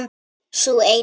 Sú eina!